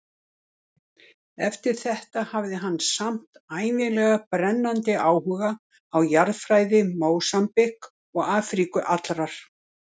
Eftir þetta hafði hann samt ævinlega brennandi áhuga á jarðfræði Mósambík og Afríku allrar.